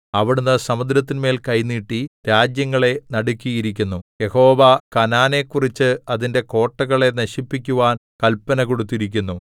അവിടുന്ന് സമുദ്രത്തിന്മേൽ കൈ നീട്ടി രാജ്യങ്ങളെ നടുക്കിയിരിക്കുന്നു യഹോവ കനാനെക്കുറിച്ച് അതിന്റെ കോട്ടകളെ നശിപ്പിക്കുവാൻ കല്പന കൊടുത്തിരിക്കുന്നു